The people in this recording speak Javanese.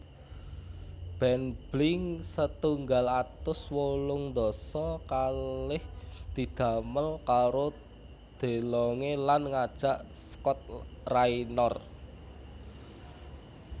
Band Blink setunggal atus wolung dasa kalih didamél karo DeLonge lan ngajak Scott Raynor